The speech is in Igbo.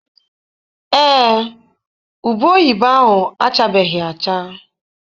Ee, ube oyibo ahụ achabeghị acha.